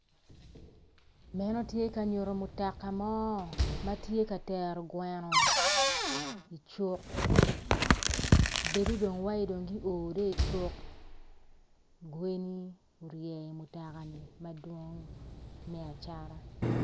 Meno tye ka nyuto mutoka mo ma tye ka tero gweno icuk bedo dong iwaci dong guo dong icuk gweni orye i mutokani madwong me acata.